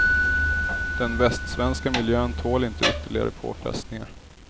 Den västsvenska miljön tål inte ytterligare påfrestningar.